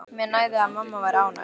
Mér nægði að mamma væri ánægð.